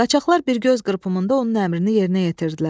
Qaçaqlar bir göz qırpımında onun əmrini yerinə yetirdilər.